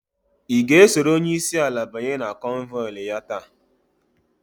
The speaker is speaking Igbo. I ga esoro onyeisi ala banye na konvoili ya taa?